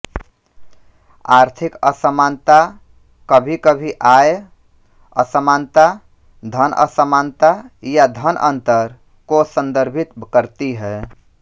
आर्थिक असमानता कभीकभी आय असमानता धन असमानता या धन अंतर को संदर्भित करती है